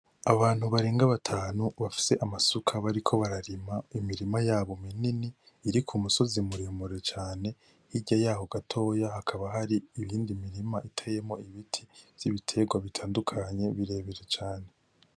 Abantu barenga batanu bafise amasuka bariko bararima mu mirima yabo minini iri kumusozi muremure cane hirya yaho gatoya hakaba hari iyindi mirima iteyemo ibiti vy'ibitegwa bitandukanye birebire cane.